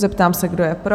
Ptám se, kdo je pro?